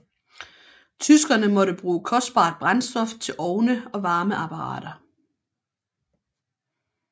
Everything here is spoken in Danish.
Tyskerne måtte bruge kostbart brændstof til ovne og varmeapparater